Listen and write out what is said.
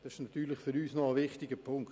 Das ist für uns ein wichtiger Punkt.